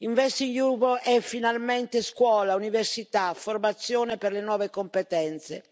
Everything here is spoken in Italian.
InvestEU è finalmente scuola, università, formazione per le nuove competenze.